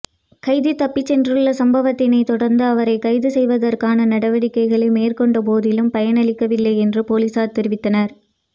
கைதி தப்பிச் சென்றுள்ள சம்பவத்தினை தொடர்ந்து அவரை கைது செய்வதற்கான நடவடிக்கைகளை மேற்கொண்ட போதிலும் பயனளிக்கவில்லை என்று பொலிஸார் தெரிவித்தனர்